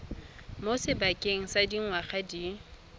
mo sebakeng sa dingwaga di